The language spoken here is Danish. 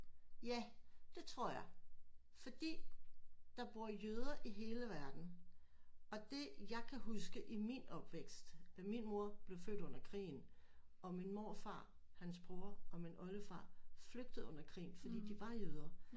Ja det tror jeg fordi der bor jøder i hele verden og det jeg kan huske i min opvækst min mor blev født under krigen og min morfar hans bror og min oldefar flygtede under krigen fordi de var jøder